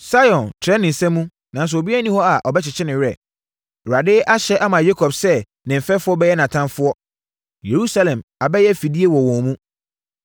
Sion trɛ ne nsa mu nanso obiara nni hɔ a ɔbɛkyekye ne werɛ Awurade ahyɛ ama Yakob sɛ ne mfɛfoɔ bɛyɛ nʼatamfoɔ; Yerusalem abɛyɛ afideɛ wɔ wɔn mu.